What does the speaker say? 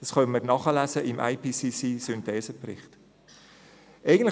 Das können wir im IPCC-Synthesebericht nachlesen.